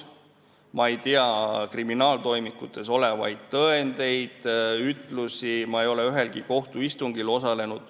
Ma ei tea kriminaaltoimikutes olevaid tõendeid ega ütlusi, ma ei ole ühelgi kohtuistungil osalenud.